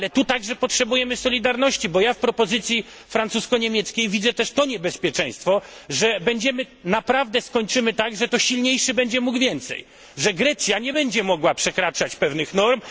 Ale tu także potrzebujemy solidarności, bo ja w propozycji francusko niemieckiej widzę też to niebezpieczeństwo, że naprawdę skończymy tak, że to silniejszy będzie mógł więcej, że Grecja nie będzie mogła przekraczać pewnych norm.